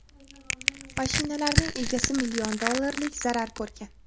mashinalarning egasi million dollarlik zarar ko‘rgan.